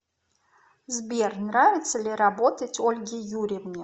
сбер нравится ли работать ольге юрьевне